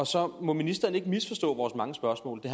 så må ministeren ikke misforstå vores mange spørgsmål det